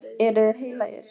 Eru þeir heilagir?